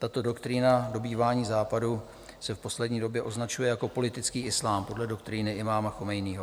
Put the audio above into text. Tato doktrína dobývání Západu se v poslední době vyznačuje jako politický islám podle doktríny imáma Chameneího.